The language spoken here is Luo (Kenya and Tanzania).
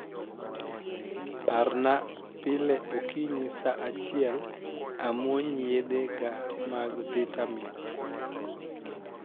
parna pile okinyi saa achiel amuony yedhe ga mag vitamin